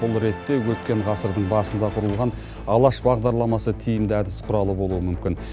бұл ретте өткен ғасырдың басында құрылған алаш бағдарламасы тиімді әдіс құралы болуы мүмкін